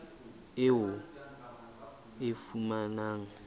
eo o e fumanang ha